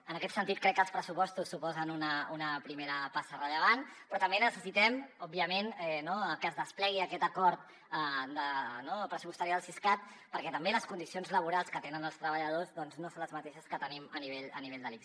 en aquest sentit crec que els pressupostos suposen una primera passa rellevant però també necessitem òbviament que es desplegui aquest acord pressupostari del siscat perquè tampoc les condicions laborals que tenen els treballadors no són les mateixes que tenim a nivell de l’ics